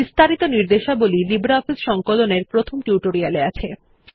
বিস্তারিত নির্দেশাবলী লিব্রিঅফিস সংকলন এর প্রথম টিউটোরিয়াল এ আছে